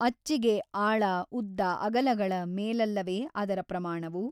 ಅಚ್ಚಿಗೆ ಆಳ ಉದ್ದ ಅಗಲಗಳ ಮೇಲಲ್ಲವೆ ಅದರ ಪ್ರಮಾಣವು?